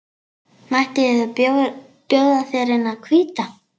Mætti bjóða þér eina hvíta.